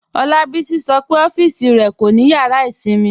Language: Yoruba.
Olabisi sọ́ pe ọffísì rẹ kò ni yàrà ìṣinmí